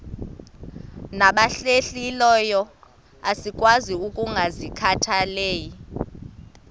nabahlehliyo asikwazi ukungazikhathaieli